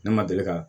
Ne ma deli ka